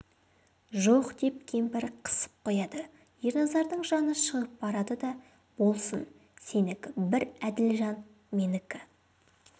жоқ деп кемпір қысып қояды ерназардың жаны шығып барады да болсын сенікі бір әділ жан менікі